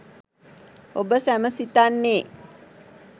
ඔබ සැම සිතන්නේ